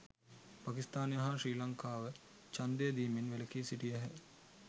පකිස්ථානය හා ශ්‍රී ලංකාව ඡන්දය දීමෙන් වැලකී සිටියහ